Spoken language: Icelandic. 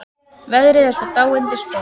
Veðrið er svo dáindisgott.